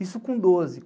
Isso com doze.